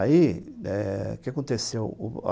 Aí, eh o que aconteceu?